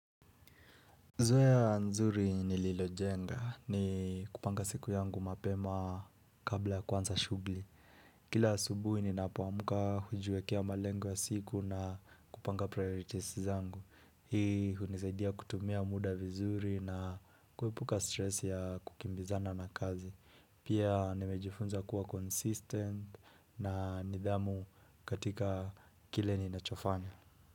Zoya nzuri ni lilojenga ni kupanga siku yangu mapema kabla kuanza shugli. Kila asubuhi ninapoamuka hujuekea malengo ya siku na kupanga priorities zangu. Hii hunisaidia kutumia muda vizuri na kuepuka stress ya kukimbizana na kazi. Pia nimejifunza kuwa consistent na nidhamu katika kile ninachofanya.